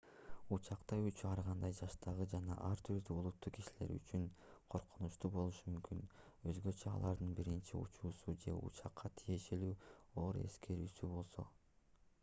учакта учуу ар кандай жаштагы жана ар түрдүү улуттагы кишилер үчүн коркунучтуу болушу мүмкүн өзгөчө алардын биринчи учуусу же учакка тиешелүү оор эскерүүсү болсо